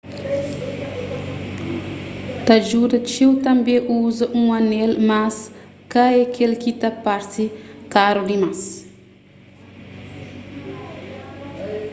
ta djuda txeu tanbê uza un anel mas ka k-el ki ta parse karu dimas